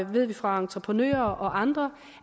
ved vi fra entreprenører og andre